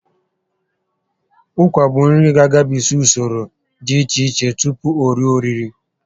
Ụkwa bụ nri ga agabigs usoro dị iche iche tupu o rue oriri